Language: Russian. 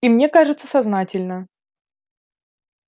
и мне кажется сознательно